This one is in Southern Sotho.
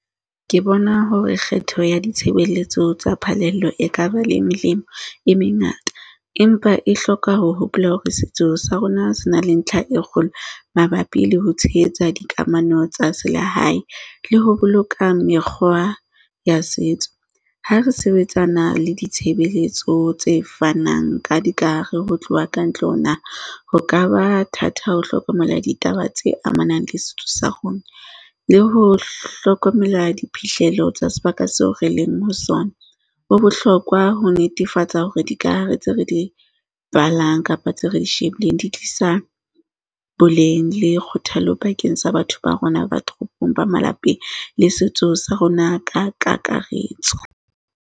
Ke bona hore kgetho ya ditshebeletso tsa phalelo ekaba le melemo e mengata empa e hloka ho hopola hore setso sa rona se na le ntlha e kgolo mabapi le ho tshehetsa dikamano tsa selehae, le ho boloka mekgwa ya setso. Ha re sebetsana le ditshebeletso tse fanang ka dikahare ho tloha kantle ho naha ka ba thata ho hlokomela ditaba tse amanang le setso sa rona le ho hlokomela diphihlelo tsa sebaka seo re leng ho sona. Ho bohlokwa ho netefatsa hore dikahare tse re di balang kapa tseo re di shebileng, di tlisa boleng, le kgothalo bakeng sa batho ba rona ba toropong ba malapeng le setso sa rona ka kakaretso.